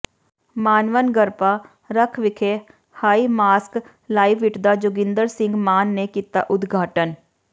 ਮਾਨਵਨਗਰਪਾਰਕਵਿਖੇ high ਮਾਸਕਲਾਈਟਦਾ ਜੋਗਿੰਦਰ ਸਿੰਘ ਮਾਨ ਨੇ ਕੀਤਾ ਉਦਘਾਟਨ